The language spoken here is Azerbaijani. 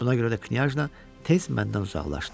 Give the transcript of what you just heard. Buna görə də knyajna tez məndən uzaqlaşdı.